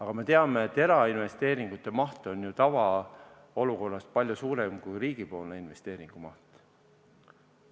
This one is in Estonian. Kuid me teame, et erainvesteeringute maht on tavaolukorras ju palju suurem kui riigi investeeringute maht.